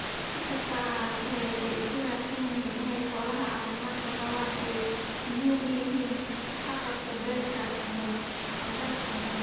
Si kastaba ha ahaatee, waxay isku raaceen in xoolaha caafimaadka qaba ay muhiim u yihiin haqab-beelka cuntada.